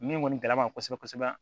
Min kɔni gɛlɛya b'an kan kosɛbɛ kosɛbɛ